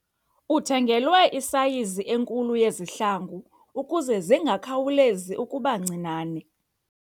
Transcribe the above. Uthengelwe isayizi enkulu yezihlangu ukuze zingakhawulezi ukuba ncinane.